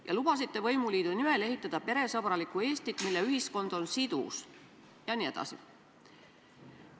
Te lubasite võimuliidu nimel ehitada peresõbralikku Eestit, mille ühiskond on sidus jne.